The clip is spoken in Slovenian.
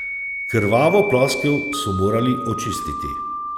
Krvavo ploskev so morali očistiti.